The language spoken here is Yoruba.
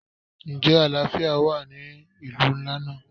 Ǹjẹ́ àlàáfíà wà ní ìlú ńlá náà?